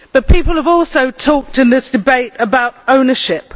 People have also talked in this debate about ownership.